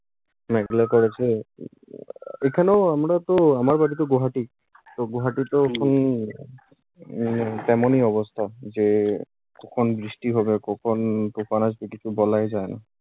মেঘলা করেছে। উম আহ এখানেও, আমরা তো আমার বাড়ি তো গোহাটি। তো গোহাটিতে এখন উম তেমন ই অবস্থা যে কখন বৃষ্টি হবে, কখন তুফান আসবে কিছু বলাই যায় না।